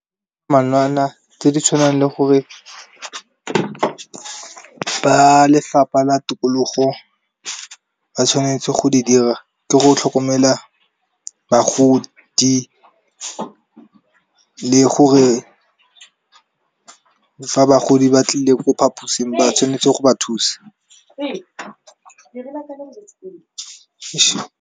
tse di tshwanang le gore, ba lefapha la tikologo ba tshwanetse go di dira ke go tlhokomela bagodi le gore. Fa bagodi ba tlile ko phaposing ba tshwanetse go ba thusa.